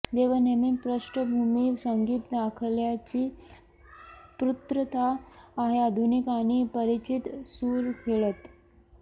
जेवण नेहमी पार्श्वभूमी संगीत दाखल्याची पूर्तता आहे आधुनिक आणि परिचित सूर खेळत